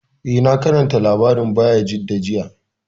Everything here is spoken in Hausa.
Eh, na karanta labarin Bayajidda jiya